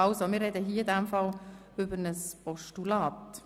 – Gut, wir sprechen in diesem Fall also über ein Postulat.